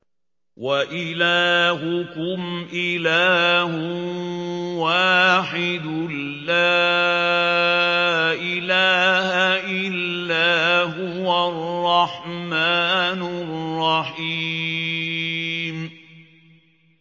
وَإِلَٰهُكُمْ إِلَٰهٌ وَاحِدٌ ۖ لَّا إِلَٰهَ إِلَّا هُوَ الرَّحْمَٰنُ الرَّحِيمُ